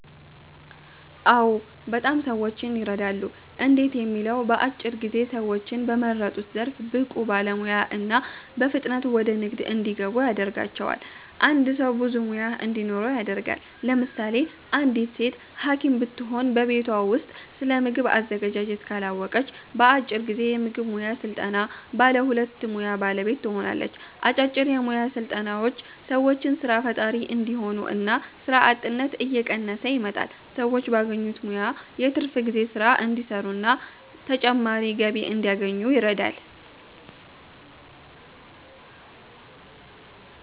አዎ! በጣም ሰዎችን የረዳሉ። እንዴት ለሚለው በአጭር ጊዜ ሰዎችን በመረጡት ዘርፍ ብቁ ባለሙያ እና በፍጥነት ወደ ንግድ እንዲገቡ ያደርጋቸዋል። አንድ ሰው ብዙ ሙያ እንዲኖረው ያደርጋል። ለምሳሌ አንዲት ሴት ሀኪም ብትሆን በቤቷ ውስጥ ስለምግብ አዘገጃጀት ካላወቀች በአጭር ጊዜ የምግብ ሙያ ሰልጥና ባለ ሁለቱ ሙያ ባለቤት ትሆናለች። አጫጭር የሞያ ስልጠናዎች ሰዎችን ሰራ ፈጣሪ እንዲሆኑ እና ስራ አጥነት እየቀነሰ ይመጣል። ሰዎች ባገኙት ሙያ የትርፍ ጊዜ ስራ እንዲሰሩና ተጨማሪ ገቢ እንዲያገኙ ይረዳል።